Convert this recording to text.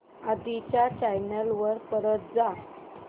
आधी च्या चॅनल वर परत जा